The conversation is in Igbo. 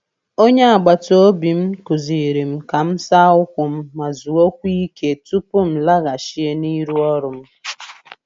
Onye agbata obi m kụziiri m ka m saa ụkwụ m ma zuokwa ike tupu m laghachie n’iru ọrụ